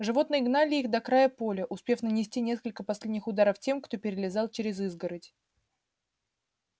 животные гнали их до края поля успев нанести несколько последних ударов тем кто перелезал через изгородь